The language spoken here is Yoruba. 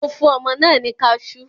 Mo fún ọmọ náà ní kaṣú.